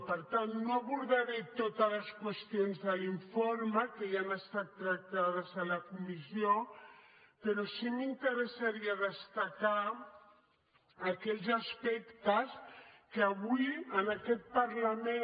per tant no abordaré totes les qüestions de l’informe que ja han estat tractades a la comissió però sí que m’interessaria destacar aquells aspectes que avui en aquest parlament